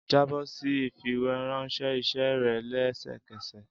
Jabọ si ifiweranṣẹ iṣẹ rẹ lẹsẹkẹsẹ!